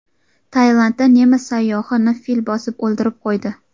Tailandda nemis sayyohini fil bosib o‘ldirib qo‘ydi.